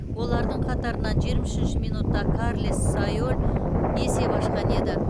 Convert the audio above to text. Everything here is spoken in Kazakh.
олардың қатарынан жиырма үшінші минутта карлес сайоль есеп ашқан еді